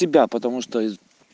тебя потому что из